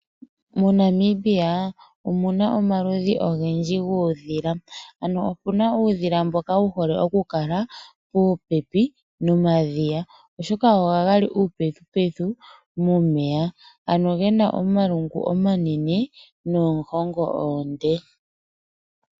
MoNamibia omuna omaludhi ogendji guudhila. Ano opuna uudhila mboka wu hole oku kala puupepi nomadhiya oshoka ohaga li uupethu pethu momeya ano gena omalungu omanene noohongo oonde.